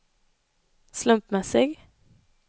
slumpmässig